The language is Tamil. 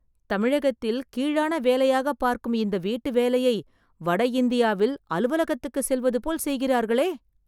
தமிழகத்தில் கீழான வேலையாகப் பார்க்கும் இந்த வீட்டுவேலையை, வட இந்தியாவில் அலுவலகத்துக்குச் செல்வது போல் செய்கிறார்களே...